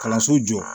Kalanso jɔ